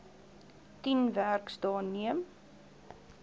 tien werksdae neem